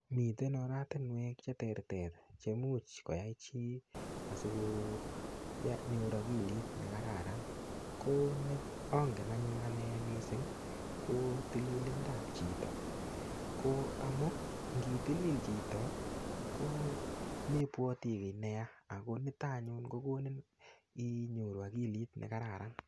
Mitee oratinwek che terter chemuch kwaii chii asiko nyor akilit nee kararan ko angen anyon anee missing tililinda ab chitoo ko amuu ngii tilil chito ko membwati kii neyaa akonitok anyon kokoniin inyoru akiliit nee kararan